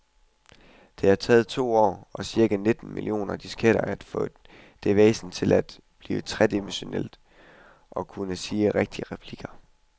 Det har taget to år og cirka nitten millioner disketter at få det væsen til at blive tredimensionelt og til at kunne sige rigtige replikker.